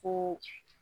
Ko